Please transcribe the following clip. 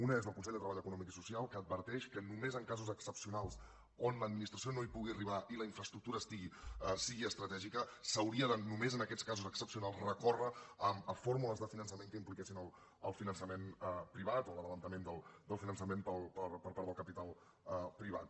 una és del consell de treball econòmic i social que adverteix que només en casos excepcionals on l’administració no hi pugui arribar i la infraestructura sigui estratègica s’hauria de només en aquests casos excepcionals recórrer a fórmules de finançament que impliquessin el finançament privat o l’avançament del finançament per part del capital privat